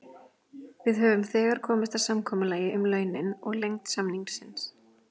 Við höfum þegar komist að samkomulagi um launin og lengd samningsins.